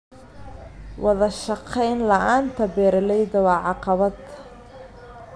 Wadashaqeyn la'aanta beeralayda waa caqabad.